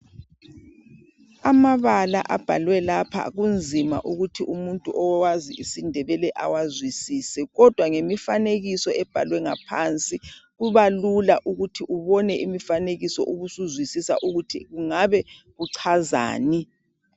Amabala abhalwe lapha kunzima ukuthi umuntu owazi IsiNdebele awazwisise. Kodwa ngemifanekuso ebhalwe ngaphansi kubalula ukuthi ubone imifanekiso ubusuzwisisa ukuthi kungabe kuchazani